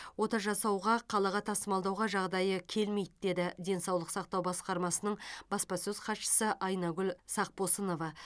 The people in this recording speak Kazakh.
ота жасауға қалаға тасымалдауға жағдайы келмейді деді денсаулық сақтау басқармасының баспасөз хатшысы айнагүл сақпосынова